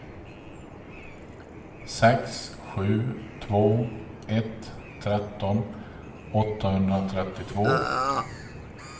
sex sju två ett tretton åttahundratrettiotvå